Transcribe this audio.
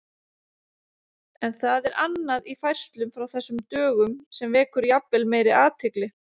En það er annað í færslum frá þessum dögum sem vekur jafnvel meiri athygli.